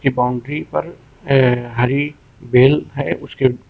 boundary पर अह हरी बेल हैं उसके--